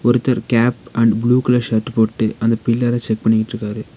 ஒருத்தர் cap and blue colour shirt போட்டு அந்த பில்லர செக் பண்ணிகிட்ருக்காரு.